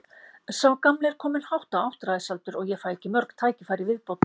Sá gamli er kominn hátt á áttræðisaldur og ég fæ ekki mörg tækifæri í viðbót.